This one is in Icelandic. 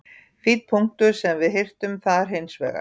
Fínn punktur sem við hirtum þar hins vegar.